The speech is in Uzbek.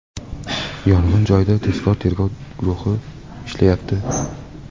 Yong‘in joyida tezkor tergov guruhi ishlayapti.